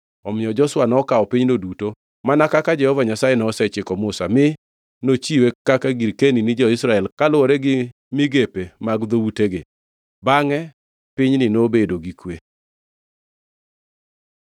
Omiyo Joshua nokawo pinyno duto mana kaka Jehova Nyasaye nosechiko Musa, mi nochiwe kaka girkeni ni jo-Israel kaluwore gi migepe mag dhoutegi. Bangʼe pinyni nobedo gi kwe.